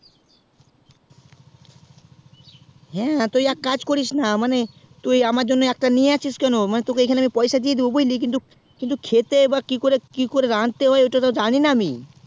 হ্যাঁ তো এক কাজ করিস না আমার জন্য একটা নিয়ে আশিস কেন মানে তোকে আমি এখানে পয়সা দিয়ে দিবো বুঝলি কিন্তু খেতে বা কি করে রাঁধতে হয় ওটা তো জানি না আমি